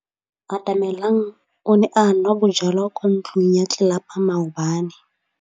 Atamelang o ne a nwa bojwala kwa ntlong ya tlelapa maobane.